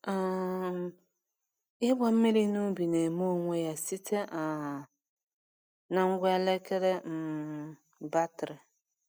um Ịgba mmiri na ubi na-eme onwe ya site um na ngwa elekere um batrị.